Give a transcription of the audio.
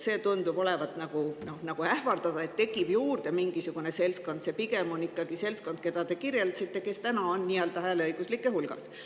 See tundub olevat nagu ähvardav, et tekib juurde mingisugune seltskond, aga see seltskond, keda te kirjeldasite, juba on hääleõiguslike hulgas.